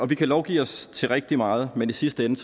vi kan lovgive os til rigtig meget men i sidste ende